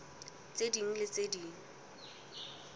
tse ding le tse ding